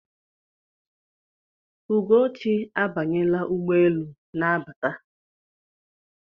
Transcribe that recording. Ugochi abanyela ụgbọelu na-abata.